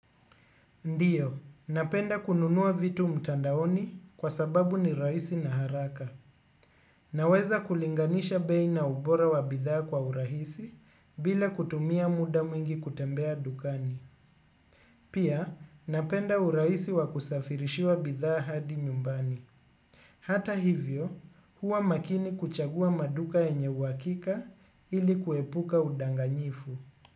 Ndiyo, napenda kununua vitu mtandaoni kwa sababu ni rahisi na haraka. Naweza kulinganisha bei na ubora wa bidhaa kwa urahisi bila kutumia muda mwingi kutembea dukani. Pia, napenda urahisi wa kusafirishiwa bidhaa hadi nyumbani. Hata hivyo, huwa makini kuchagua maduka yenye uwakika ili kuepuka udanganyifu.